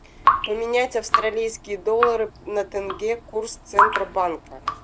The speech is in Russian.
поменять австралийские доллары на тенге курс центробанка